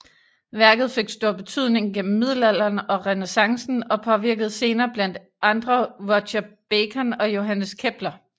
Værket fik stor betydning gennem middelalderen og renæssancen og påvirkede senere blandt andre Roger Bacon og Johannes Kepler